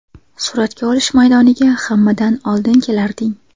Suratga olish maydoniga hammadan oldin kelarding.